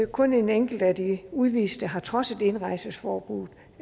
kun en enkelt af de udviste har trodset indrejseforbuddet